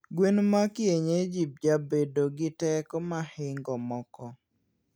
gweno ma kienyeji jabedo gi teko mahingo moko